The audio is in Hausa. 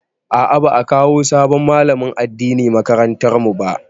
A'a, ba'a kawo sabon malamin addini makarantar mu ba.